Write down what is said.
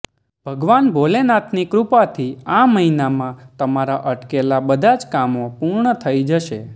ભગવાન ભોલેનાથની કૃપાથી આ મહિનામાં તમારા અટકેલા બધા જ કામો પૂર્ણ થઇ જશે